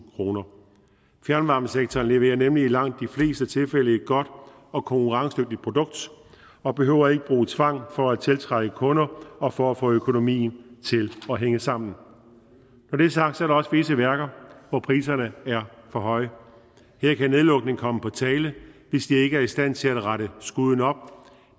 kroner fjernvarmesektoren leverer nemlig i langt de fleste tilfælde et godt og konkurrencedygtigt produkt og behøver ikke bruge tvang for at tiltrække kunder og for at få økonomien til at hænge sammen når det er sagt er der også visse værker hvor priserne er for høje her kan nedlukning komme på tale hvis de ikke er i stand til at rette skuden op